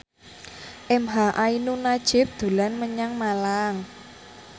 emha ainun nadjib dolan menyang Malang